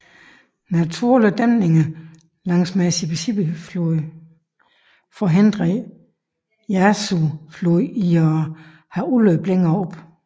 Naturlige dæmninger langs med Mississippi floden forhindrer Yazoo floden i at have udløb længere oppe